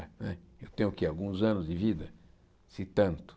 Né eu tenho o que alguns anos de vida, se tanto.